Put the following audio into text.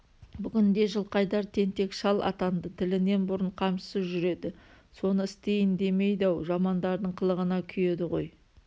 бүгінде жылқайдар тентек шал атанды тілінен бұрын қамшысы жүреді соны істейін демейді-ау жамандардың қылығына күйеді ғой